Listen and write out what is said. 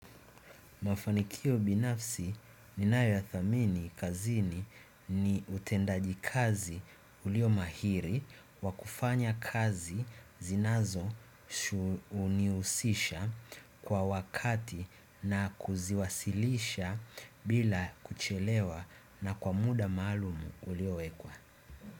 Mafanikio binafsi ninayoyathamini kazini ni utendajikazi ulio mahiri wa kufanya kazi zinazo kunihusisha kwa wakati na kuziwasilisha bila kuchelewa na kwa muda maalumu ulioekwa.